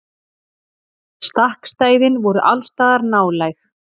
Stakkstæðin voru allsstaðar nálæg.